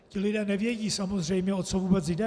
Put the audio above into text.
Ti lidé nevědí samozřejmě, o co vůbec jde.